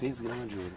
Três gramas de ouro?